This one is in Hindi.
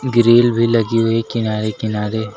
ग्रिल भी लगी हुई किनारे किनारे।